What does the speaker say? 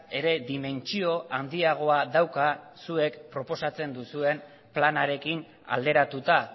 ere dimentsio handiagoa dauka zuek proposatzen duzuen planarekin alderatuta